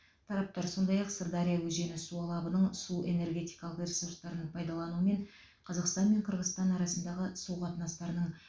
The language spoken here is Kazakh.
тараптар сондай ақ сырдария өзені су алабының су энергетикалық ресурстарын пайдалану мен қазақстан мен қырғызстан арасындағы су қатынастарының